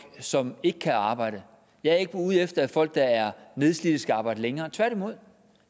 som ikke kan arbejde jeg er ikke ude efter at folk der er nedslidte skal arbejde længere tværtimod